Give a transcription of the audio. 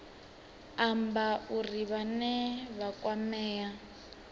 amba uri vhane vha kwamea